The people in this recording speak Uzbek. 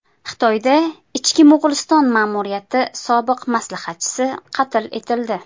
Xitoyda Ichki Mo‘g‘uliston ma’muriyati sobiq maslahatchisi qatl etildi.